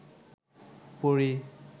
পড়ি